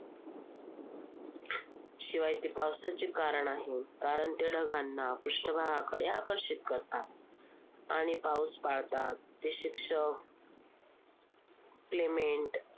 शिवाय ते पावसाचे कारण आहे. कारण ते ढगांना पृष्ठभागाकडे आकर्षित करतात. आणि ते पाऊस पाडतात. ते शिक्षक play mate